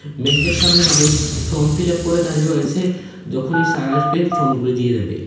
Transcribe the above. ব্যাংকের সামনে মানুষ ফর্ম ফিলাপ করে দাঁড়িয়ে রয়েছে যখনই সার আসবে ফর্মগুলি দিয়ে দিবে।